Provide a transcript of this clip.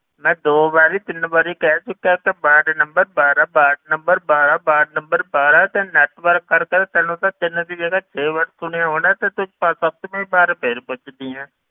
ਮੈਂ ਦੋ ਵਾਰੀ ਤਿੰਨ ਵਾਰੀ ਕਹਿ ਚੁੱਕਿਆ ਕਿ ਵਾਰਡ number ਬਾਰਾਂ ਵਾਰਡ number ਬਾਰਾਂ ਵਾਰਡ number ਬਾਰਾਂ ਤੇ network ਕਰਕੇ ਤੈਨੂੰ ਤੇ ਤਿੰਨ ਦੀ ਜਗ੍ਹਾ ਛੇ ਵਾਰੀ ਸੁਣਿਆ ਹੋਣਾ ਤੇ ਤੂੰ ਸੱਤਵੀ ਵਾਰ ਫਿਰ ਪੁੱਛਦੀ ਹੈ,